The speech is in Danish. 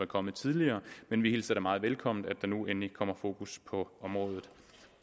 kommet tidligere men vi hilser da meget velkommen at der nu endelig kommer fokus på området